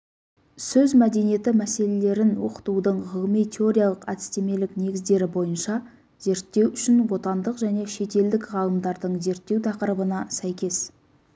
сөз мәдениеті мәселелерін оқытудың ғылыми-теориялық әдістемелік негіздері бойынша зерттеу үшін отандық және шетелдік ғалымдардың зерттеу тақырыбына сәйкес